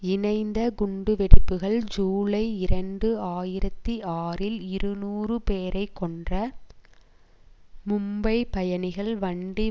இணைந்த குண்டுவெடிப்புக்கள் ஜூலை இரண்டு ஆயிரத்தி ஆறில் இருநூறு பேரை கொன்ற மும்பை பயணிகள் வண்டி